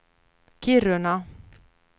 Kiruna